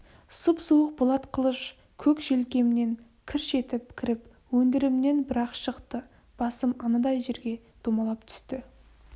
сұп-суық болат қылыш көк желкемнен кірш етіп кіріп өндірімнен бір-ақ шықты басым анадай жерге домалап түсті